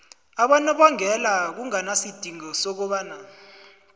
abonobangela kunganasidingo sokobana